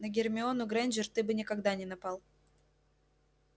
на гермиону грэйнджер ты бы никогда не напал